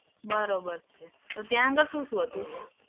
બરાબર છે. તો ત્યાં આગળ શું શું હતું?